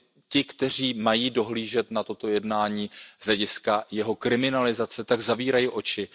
Ti, kteří mají dohlížet na toto jednání z hlediska jeho kriminalizace, tak zavírají oči.